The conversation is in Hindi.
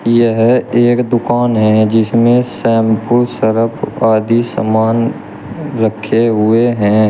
यह एक दुकान है जिसमें शैंपू सरफ आदि सामान रखे हुए हैं।